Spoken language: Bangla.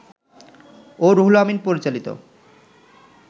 ও রুহুল আমিন পরিচালিত